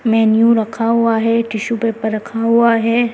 Menu रखा हुआ है टिशू पेपर रखा हुआ है।